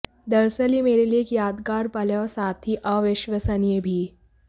दरअसल यह मेरे लिए एक यादगार पल है और साथ ही अविश्वसनीय भी